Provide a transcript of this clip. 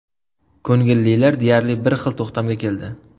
Ko‘ngillilar deyarli bir xil to‘xtamga keldi.